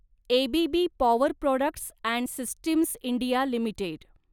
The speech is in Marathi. ABB power products and systems India limited